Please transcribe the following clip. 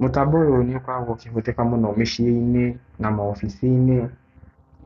Mũtambo ũyũ nĩ ũkoragwo ũkĩhũthĩka mũno mĩciĩ-inĩ na maobici-inĩ,